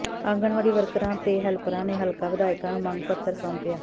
ਆਂਗਨਵਾੜੀ ਵਰਕਰਾਂ ਤੇ ਹੈਲਪਰਾਂ ਨੇ ਹਲਕਾ ਵਿਧਾਇਕਾ ਨੂੰ ਮੰਗ ਪੱਤਰ ਸੌਾਪਿਆ